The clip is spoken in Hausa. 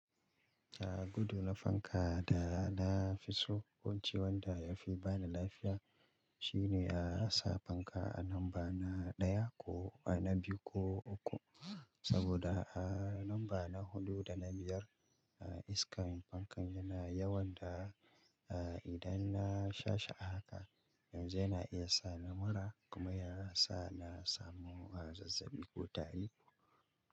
Jiya gudu na fanka da na fi so wance wanda ya fi ba ni lafiya shine a sa fanka a lamba na ɗaya ko a na biyu ko uku saboda a lamba na hudu da na biyar iskar fankan yana yawan da idan na shasha haka yanzu yana iya sa ni mura kuma ya sa na samu zazzaɓi ko tari.